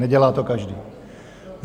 Nedělá to každý.